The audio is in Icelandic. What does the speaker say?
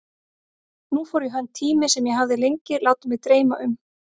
Nú fór í hönd tími sem ég hafði lengi látið mig dreyma um.